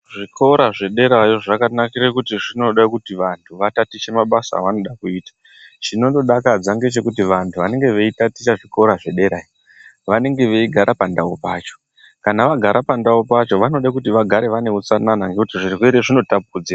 Zvikora zvederayo zvakanakira kuti zvinode kuti vantu vatatiche mabasa avanoda kuita chinondodakadza ngechekuti vantu vanenge veitaticha zvikora zvederaiyo vanenge veigara pandau pacho kana vagara pandau pacho vanode kuti vagare vaneutsanana ngekuti zvirwere zvino tapudzirwa.